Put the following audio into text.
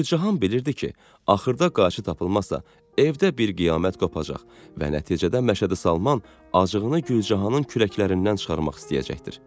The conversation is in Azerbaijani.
Gülcahan bilirdi ki, axırda qayçı tapılmazsa, evdə bir qiyamət qopacaq və nəticədə Məşədi Salman acığını Gülcahanın kürəklərindən çıxarmaq istəyəcəkdir.